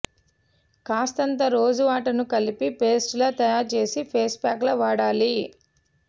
కాస్తంత rose water ను కలిపి పేస్ట్ లా తయారుచేసి ఫేస్ ప్యాక్ లా వాడాలి